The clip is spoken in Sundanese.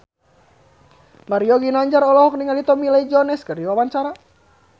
Mario Ginanjar olohok ningali Tommy Lee Jones keur diwawancara